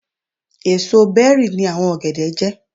Èsò bẹ́rì ni àwọn ọ̀gẹ̀dẹ̀ jẹ́.